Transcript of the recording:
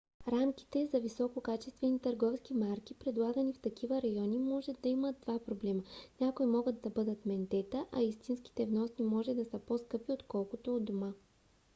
рамките за висококачествени търговски марки предлагани в такива райони може да имат два проблема: някои могат да бъдат ментета а истинските вносни може да са по - скъпи отколкото у дома